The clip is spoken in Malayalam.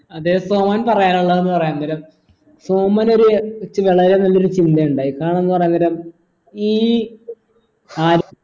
അതെ സോമൻ പറയാനുള്ളത്ന്ന് പറയാൻ നേരം സോമൻ ഒരു വളരെ നല്ലൊരു ചിന്തയിണ്ടായി കാരണെന്ന് പറയാൻ നേരം ഈ